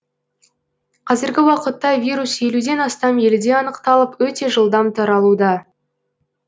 қазіргі уақытта вирус елуден астам елде анықталып өте жылдам таралуда